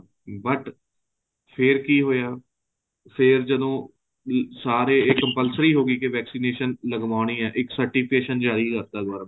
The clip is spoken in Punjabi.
but ਫ਼ੇਰ ਕੀ ਹੋਇਆ ਫ਼ੇਰ ਜਦੋਂ ਵੀ ਸਾਰੇ ਏ compulsory ਹੋ ਗਈ ਕੇ vaccination ਲਗਵਾਉਣੀ ਏ ਇੱਕ certificate ਜਾਰੀ ਕਰਤਾਂ government ਨੇ